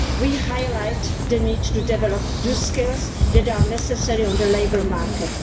We highlight the need to develop the skills that are necessary on the labour market.